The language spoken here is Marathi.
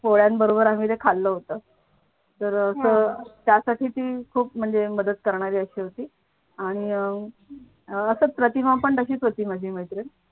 पोळ्यांबरोबर आम्ही ते खाल्लं होतं तर अह त त्यासाठी ती खूप म्हणजे मदत करणारी अशी होती आणि अह असच प्रतिमा पण तशीच होती माझी मैत्री.